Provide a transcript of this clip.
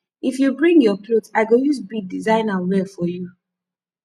if you bring your cloth i go use bead design am well for you